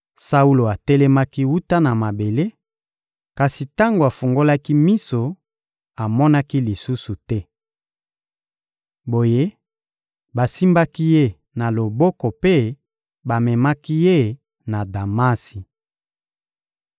Saulo atelemaki wuta na mabele; kasi tango afungolaki miso, amonaki lisusu te. Boye, basimbaki ye na loboko mpe bamemaki ye na Damasi.